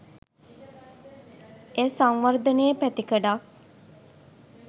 එය සංවර්ධනයේ පැතිකඩක්